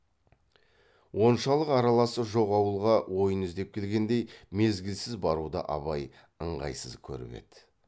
оншалық араласы жоқ ауылға ойын іздеп келгендей мезгілсіз баруды абай ыңғайсыз көріп еді